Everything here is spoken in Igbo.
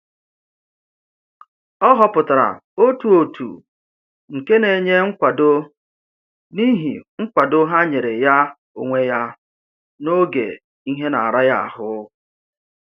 Ọ họpụtara otu òtù nke na-enye nkwado n'ihi nkwado ha nyere ya onwe ya n'oge ihe na-ara ya ahụ